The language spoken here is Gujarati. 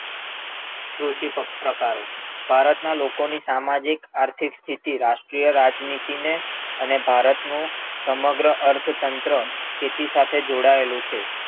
કૃષિ પ્રકારો, ભારત ના લોકો ની સામાજિક, આર્થિકસ્થિતિ રાષ્ટ્રીય રાજનીતિ ને અને ભારત નું સમગ્ર અર્થ તંત્ર ખેતી સાથે જોડાયેલું છે.